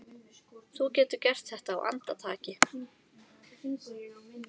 Þú getur gert þetta á andartaki.